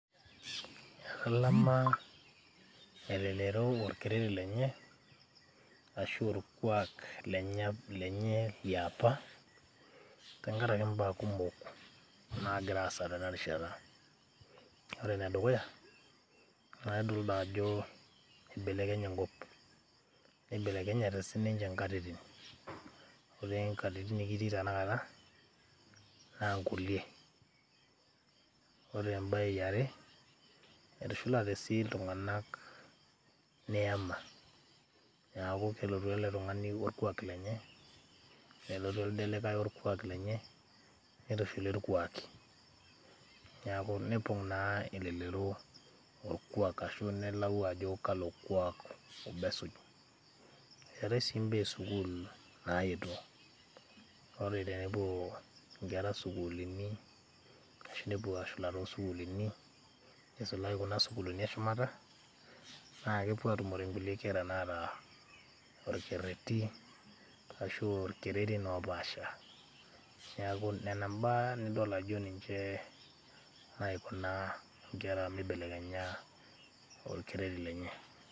etalama elelero olkereri lenye arashu orkuak lenye liapa tenkaraki imbaa kumok naagira aasa tenarishata ore enedukuya naa idol dajo ibelekenye enkop nibelekenyate sininche inkatitin ore nkatitin nikitii tenakata naa inkulie ore embaye yiare etushulate sii iltung'anak neyama niaku kelotu ele tung'ani workuak lenye nelotu elde likae orkuak lenye nitushuli irkuaki niaku nepong naa elelero orkuak ashu nelau ajo kalo kuak obo esuj, eetae sii imbaa esukul naetuo ore tenepuo inkera sukulini ashu nepuo ashula tosukulini nisulaki kuna sukuluni eshumata naa kepuo atumore inkulie kera naata orkerreti ashu ilkererin opaasha niaku nena imbaa nidol ajo ninche naiko naa inkera mibelekenya orkereri lenye.